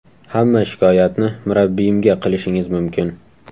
Hamma shikoyatni murabbiyimga qilishingiz mumkin.